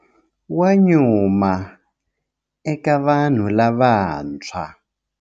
Wa nyuma eka vanhu lavantshwa.